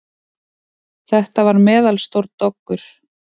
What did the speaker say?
Þetta var meðalstór doggur.